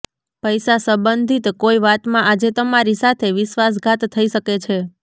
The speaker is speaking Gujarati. પૈસા સંબંધિત કોઈ વાતમાં આજે તમારી સાથે વિશ્વાસઘાત થઇ શકે છે